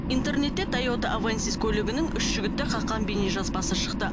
интернетте тойота авенсис көлігінің үш жігітті қаққан бейнежазбасы шықты